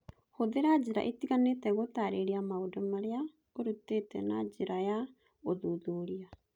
Hũthĩra njĩra itiganĩte gũtaarĩria maũndũ marĩa ũrutĩte na njĩra ya ũthuthuria